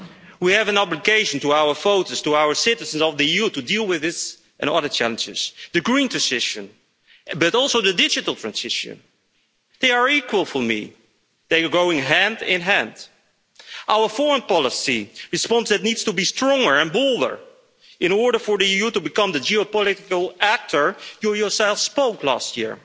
We have an obligation to our voters, to our citizens of the EU, to deal with these and other challenges the green transition but also the digital transition they are equal to me, they go hand in hand and our foreign policy response that needs to be stronger and bolder in order for the EU to become the geopolitical actor you yourself spoke of last year.